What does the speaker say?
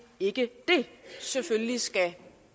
ikke det selvfølgelig skal